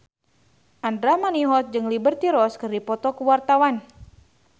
Andra Manihot jeung Liberty Ross keur dipoto ku wartawan